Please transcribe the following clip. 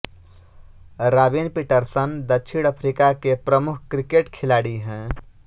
robin Peterson दक्षिण Africa के प्रमुख क्रिकेट खिलाड़ी हैं